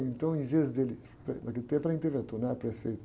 Então, em vez dele... Naquele tempo, era interventor, não era prefeito.